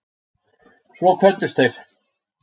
Svo kvöddust þeir.